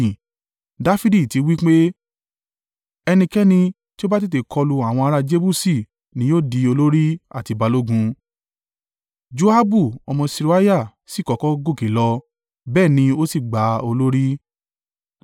Dafidi ti wí pé, “Ẹnikẹ́ni tí ó bá tètè kọlu àwọn ará Jebusi ni yóò di olórí àti balógun.” Joabu ọmọ Seruiah sì kọ́kọ́ gòkè lọ, bẹ́ẹ̀ ni ó sì gba olórí.